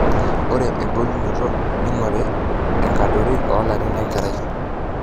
ore embulunoto neing'orri enkadorri olarin lenkerai